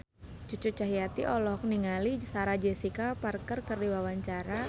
Cucu Cahyati olohok ningali Sarah Jessica Parker keur diwawancara